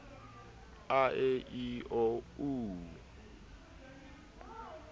a e i o u